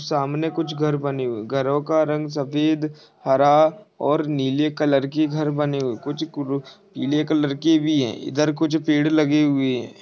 सामने कुछ घर बने हुई घरो का रंग सफेद हरा और नीले कलर की घर बनी हुई कुछ कुरु पिले कलर की भी है इधर कुछ पेड़ लगे हुए है।